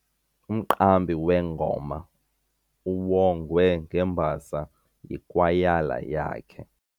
Umqambi wengoma uwongwe ngembasa yikwayala yakhe.